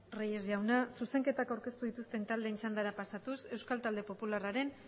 reyes jauna zuzenketak aurkeztu dituzten taldeen txandara pasatuz euskal tadel popularraren